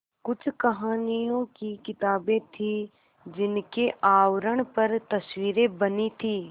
कुछ कहानियों की किताबें थीं जिनके आवरण पर तस्वीरें बनी थीं